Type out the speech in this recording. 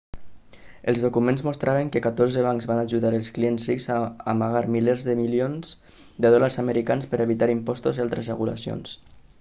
els documents mostraven que catorze bancs van ajudar els clients rics a amagar milers de milions de dòlars americans per evitar impostos i altres regulacions